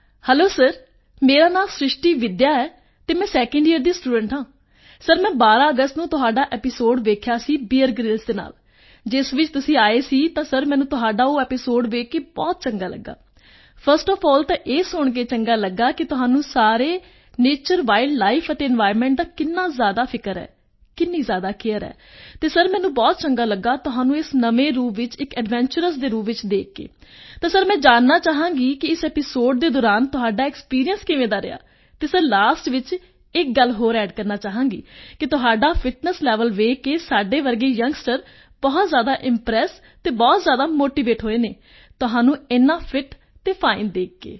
hello sir ਮੇਰਾ ਨਾਂ ਸ੍ਰਿਸ਼ਟੀ ਵਿੱਦਿਆ ਹੈ ਅਤੇ ਮੈਂ 2nd ਯੀਅਰ ਦੀ ਸਟੂਡੈਂਟ ਹਾਂ ਸਰ ਮੈਂ ਟਵੈਲਵ ਆਗਸਟ ਨੂੰ ਤੁਹਾਡਾ ਐਪੀਸੋਡ ਵੇਖਿਆ ਸੀ ਬੀਅਰ ਗ੍ਰਿਲਜ਼ ਦੇ ਨਾਲ ਜਿਸ ਵਿੱਚ ਤੁਸੀਂ ਆਏ ਸੀ ਤਾਂ ਸਰ ਮੈਨੂੰ ਤੁਹਾਡਾ ਉਹ ਐਪੀਸੋਡ ਵੇਖ ਕੇ ਬਹੁਤ ਚੰਗਾ ਲੱਗਾ ਫਰਸਟ ਓਐਫ ਅੱਲ ਤਾਂ ਇਹ ਸੁਣ ਕੇ ਚੰਗਾ ਲੱਗਾ ਕਿ ਤੁਹਾਨੂੰ ਸਾਰੇ ਨੈਚਰ ਵਾਈਲਡ ਲਾਈਫ ਅਤੇ ਇਨਵਾਇਰਨਮੈਂਟ ਦਾ ਕਿੰਨਾ ਜ਼ਿਆਦਾ ਫ਼ਿਕਰ ਹੈ ਕਿੰਨੀ ਜ਼ਿਆਦਾ ਕੇਅਰ ਹੈ ਅਤੇ ਸਰ ਮੈਨੂੰ ਬਹੁਤ ਚੰਗਾ ਲੱਗਾ ਤੁਹਾਨੂੰ ਇਸ ਨਵੇਂ ਰੂਪ ਵਿੱਚ ਇੱਕ ਐਡਵੈਂਚਰਸ ਦੇ ਰੂਪ ਵਿੱਚ ਵੇਖ ਕੇ ਤਾਂ ਸਰ ਮੈਂ ਜਾਣਨਾ ਚਾਹਾਂਗੀ ਕਿ ਤੁਹਾਡਾ ਇਸ ਐਪੀਸੋਡ ਦੇ ਦੌਰਾਨ ਐਕਸਪੀਰੀਐਂਸ ਕਿਵੇਂ ਰਿਹਾ ਅਤੇ ਸਿਰ ਲਾਸਟ ਵਿੱਚ ਇੱਕ ਗੱਲ ਹੋਰ ਅੱਡ ਕਰਨਾ ਚਾਹਾਂਗੀ ਕਿ ਤੁਹਾਡਾ ਫਿਟਨੈੱਸ ਲੇਵਲ ਵੇਖ ਕੇ ਸਾਡੇ ਵਰਗੇ ਯੰਗਸਟਰ ਬਹੁਤ ਜ਼ਿਆਦਾ ਇੰਪ੍ਰੈਸ ਅਤੇ ਬਹੁਤ ਜ਼ਿਆਦਾ ਮੋਟੀਵੇਟ ਹੋਏ ਹਨ ਤੁਹਾਨੂੰ ਇੰਨਾ ਫਿਟ ਅਤੇ ਫਾਈਨ ਵੇਖ ਕੇ